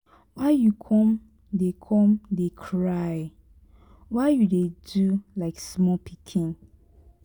why you come dey come dey cry? why you dey do like small pikin?